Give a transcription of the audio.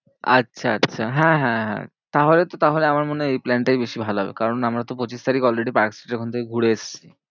আচ্ছা আচ্ছা হ্যাঁ হ্যাঁ হ্যাঁ, তাহলে তো তাহলে আমার মনে হয় এই plan টাই বেশি ভালো হবে। কারণ আমরা তো পঁচিশ তারিখ already পার্কস্ট্রিটের ওখান থেকে ঘুরে এসেছি।